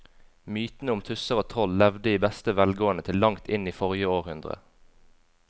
Mytene om tusser og troll levde i beste velgående til langt inn i forrige århundre.